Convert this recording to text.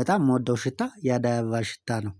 በጣም የምወደው ሽታ የአደይ አበባ ሽታ ነው